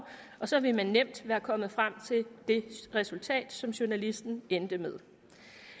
og så ville man nemt være kommet frem til det resultat som journalisten endte med